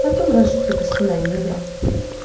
потом рожу тебе сына негра